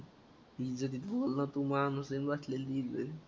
म्हणजे